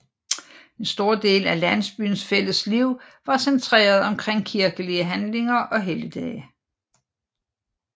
En stor del af landsbyens fælles liv var centreret omkring kirkelige handlinger og helligdage